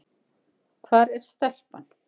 Hvar er stelpan?